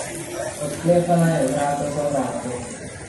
Odklepala je vrata za vrati.